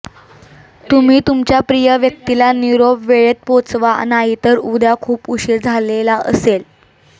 तुम्ही तुमच्या प्रिय व्यक्तीला निरोप वेळेत पोहोचवा नाही तर उद्या खूप उशीर झालेला असेल